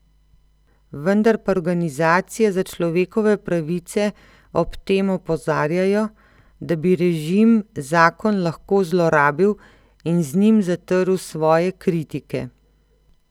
Vendar pa organizacije za človekove pravice ob tem opozarjajo, da bi režim zakon lahko zlorabil in z njim zatrl svoje kritike.